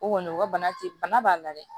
O kɔni o ka bana te bana b'a la dɛ